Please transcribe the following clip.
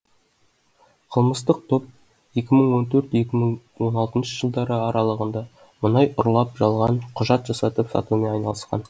қылмыстық топ екі мың он төрт екі мың он алтыншы жылдары аралығында мұнай ұрлап жалған құжат жасатып сатумен айналысқан